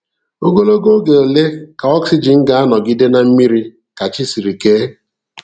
Ogologo oge ole ka oxygen ga-anọgide na mmiri ka chi siri ke?